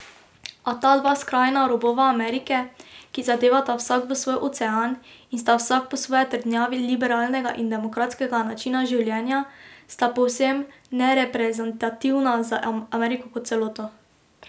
A ta dva skrajna robova Amerike, ki zadevata vsak v svoj ocean in sta vsak po svoje trdnjavi liberalnega in demokratskega načina življenja, sta povsem nereprezentativna za Ameriko kot celoto.